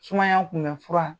Sumaya kun bɛ fura